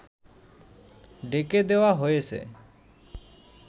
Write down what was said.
ঢেকে দেওয়া হয়েছে